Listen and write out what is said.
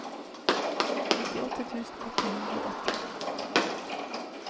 nittiåtte tusen åtte hundre og åtti